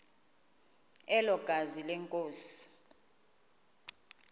elo gazi lenkosi